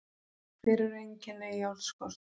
Hver eru einkenni járnskorts?